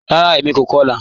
Ràrá, èmi kò kọ̀lá